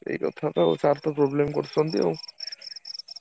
ସେଇ କଥା ତ ଆଉ sir ତ problem କରୁଛନ୍ତି ଆଉ।